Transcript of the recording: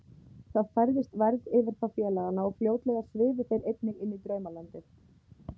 Það færðist værð yfir þá félagana og fljótlega svifu þeir einnig inní draumalandið.